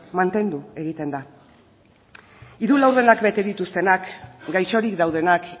mantendu egiten da hiru laurdenak bete dituztenak gaixorik daudenak